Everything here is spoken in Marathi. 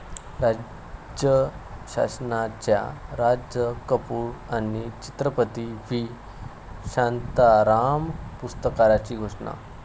राज्य शासनाच्या राज कपूर आणि चित्रपती व्ही. शांताराम पुरस्कारांची घोषणा